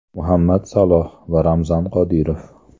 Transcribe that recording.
Muhammad Saloh va Ramzan Qodirov.